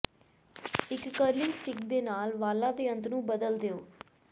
ਇੱਕ curling stick ਦੇ ਨਾਲ ਵਾਲਾਂ ਦੇ ਅੰਤ ਨੂੰ ਬਦਲ ਦਿਓ